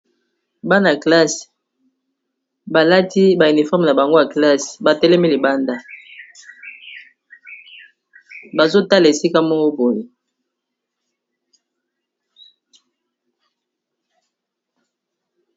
Bana ya classe balati ba uniforme na bango ya classe ba telemi libanda bazotala esika moko pone.